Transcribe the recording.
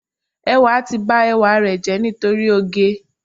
Ẹwà ti ba ẹwà rẹ̀ jẹ́ nítorí oge.